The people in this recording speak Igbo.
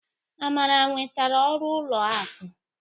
Amara nwetara ọrụ ụlọ akụ.